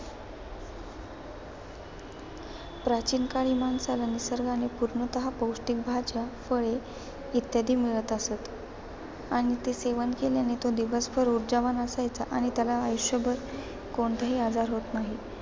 प्राचीन काळी माणसाला निर्सगाने पूर्णतः पौष्टिक भाज्या फळे इत्यादी मिळत असतं. आणि ते सेवन केल्याने तो दिवसभर ऊर्जावान असायचा आणि त्याला आयुष्यभर कोणताही आजार होत नाही.